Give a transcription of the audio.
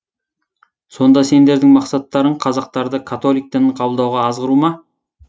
сонда сендердің мақсаттарың қазақтарды католик дінін қабылдауға азғыру ма